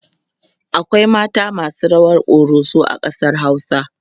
akwai mata masu rawar koroso a ƙasar hausa